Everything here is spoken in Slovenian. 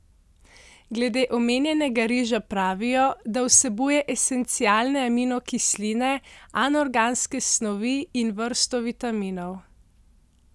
Glede omenjenega riža pravijo, da vsebuje esencialne aminokisline, anorganske snovi in vrsto vitaminov.